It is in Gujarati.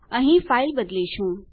અહીં ફાઇલ બદલીશું